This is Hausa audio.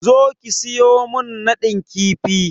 Zo ki siyo min nadin kifi!